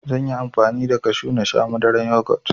Zanyi amfani da kashu nasha Madaran yugot